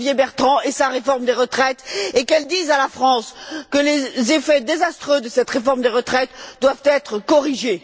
Xavier Bertrand et sa réforme des retraites, et qu'elle dise à la France que les effets désastreux de cette réforme des retraites doivent être corrigés.